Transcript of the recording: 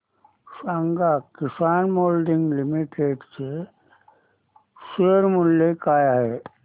सांगा Kisan moulding limited चे share मूल्य काय आहे